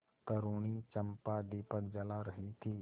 तरूणी चंपा दीपक जला रही थी